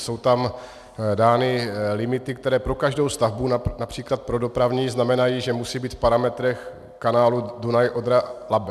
Jsou tam dány limity, které pro každou stavbu, například pro dopravní, znamenají, že musí být v parametrech kanálu Dunaj-Odra-Labe.